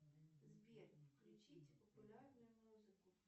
сбер включите популярную музыку